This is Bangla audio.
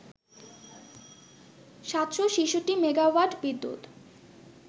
৭৬৬ মেগাওয়াট বিদ্যুৎ